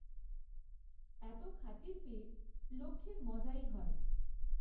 এত খাতির পেয়ে লক্ষ্মীর মজাই হয়।